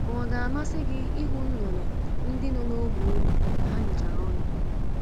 Ma ọ̀ ga-amasị gị ịhụ nnụnụ ndị nọ n’ógbè unu ka ha mechiri ọnụ?